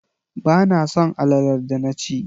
Ba na son alalar da na ci